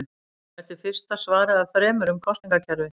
Þetta er fyrsta svarið af þremur um kosningakerfið.